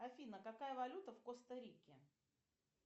афина какая валюта в коста рике